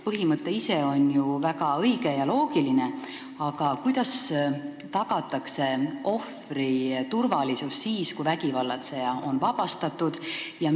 Põhimõte ise on ju väga õige ja loogiline, aga kuidas tagatakse ohvri turvalisus siis, kui vägivallatseja on vabastatud?